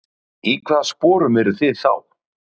Í hvaða sporum eruð þið þá?